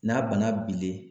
N'a bana bilen